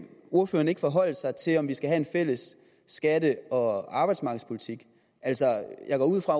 ordføreren ikke forholde sig til om vi skal have en fælles skatte og arbejdsmarkedspolitik jeg går ud fra